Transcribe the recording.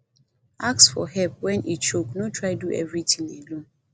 ask for help when e choke no try do everything alone